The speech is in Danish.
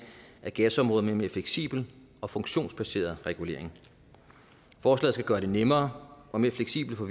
af gasområdet med en mere fleksibel og funktionsbaseret regulering forslaget skal gøre det nemmere og mere fleksibelt for